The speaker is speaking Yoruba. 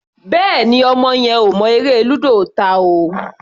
Bẹ́ẹ̀ni, ọmọ yẹn ò mọ eré lúdò ta o.